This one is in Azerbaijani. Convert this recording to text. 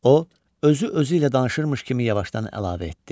O, özü-özü ilə danışırmış kimi yavaşdan əlavə etdi.